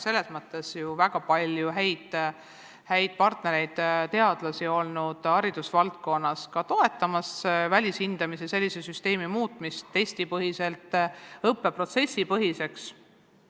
Meil on väga palju häid partnereid, ka haridusvaldkonna teadlasi, kes toetavad senise välishindamise süsteemi muutmist testipõhiselt õppeprotsessipõhiseks.